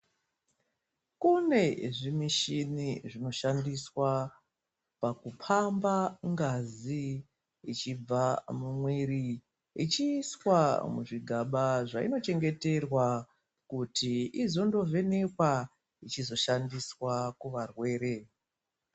Kunezvimichini zvinoshandiswa paku pamba ngazi ichibva mumwiri ichiiswa muzvigaba zvainochengeterwa kuti izondo vhenekwa ichizoshandiswa kuvarwere.